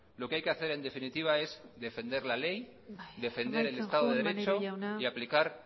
lo que hay que hacer en definitiva es defender la ley defender el estado de derecho y aplicar